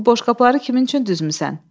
Bəs bu boşqabları kimin üçün düzmüsən?